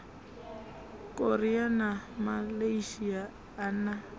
korea na malaysia a na